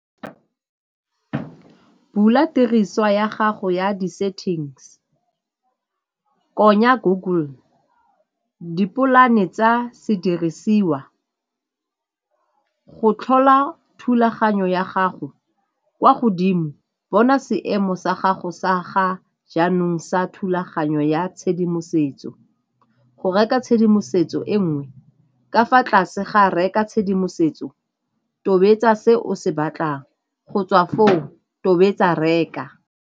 Bula tiriswa ya gago ya di-settings, konya Google, di polane tsa sedirisiwa. Go tlhola thulaganyo ya gago kwa godimo, bona seemo sa gago sa ga jaanong sa thulaganyo ya tshedimosetso. Go reka tshedimosetso e nngwe, ka fa tlase ga reka tshedimosetso tobetsa se o se batlang, go tswa foo, tobetsa reka.